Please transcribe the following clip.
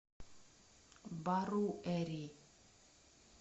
баруэри